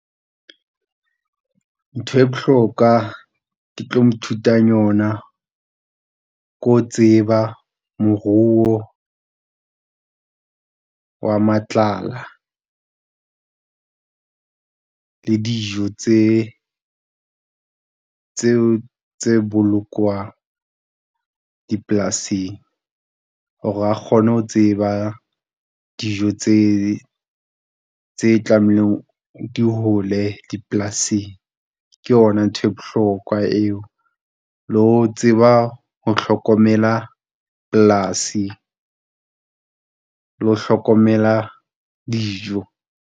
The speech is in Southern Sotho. Ntho e bohloka ke tlo mo thutang yona ko tseba moruo wa matlala le dijo tse, tse bolokwang dipolasing hore a kgone ho tseba dijo tse, tse tlamehileng di hole dipolasing ke yona ntho e bohlokwa eo le ho tseba ho hlokomela polasi le ho hlokomela dijo.